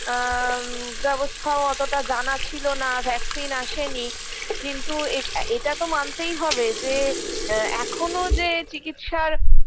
আ ব্যবস্থাও অতোটা জানা ছিল না vaccine আসেনি কিন্তু এ এটাতো মানতেই হবে যে আ এখোনো যে চিকিৎসার